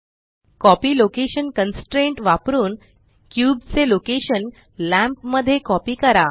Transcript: copy location constraint वापरुन cube चे location lamp मध्ये कॉपी करा